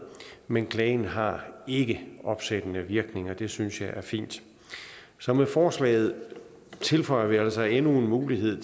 men klagen har ikke opsættende virkning og det synes jeg er fint så med forslaget tilføjer vi altså endnu en mulighed